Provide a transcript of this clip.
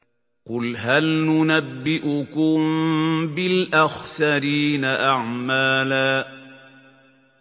قُلْ هَلْ نُنَبِّئُكُم بِالْأَخْسَرِينَ أَعْمَالًا